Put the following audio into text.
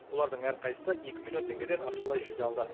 олардың әрқайсы екі миллион теңгеден ақшалай жүлде алды